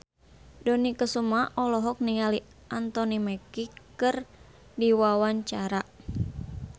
Dony Kesuma olohok ningali Anthony Mackie keur diwawancara